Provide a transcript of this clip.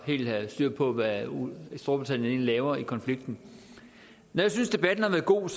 helt at have styr på hvad storbritannien egentlig laver i konflikten når jeg synes debatten har været god